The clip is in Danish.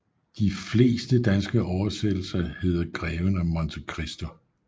De fleste danske oversættelser hedder Greven af Monte Christo